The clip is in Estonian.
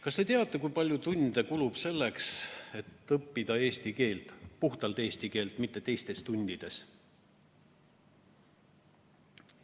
Kas te teate, kui palju tunde kulub selleks, et õppida eesti keelt, puhtalt eesti keelt, mitte teistes tundides?